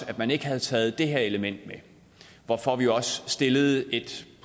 at man ikke havde taget det her element med hvorfor vi også stillede et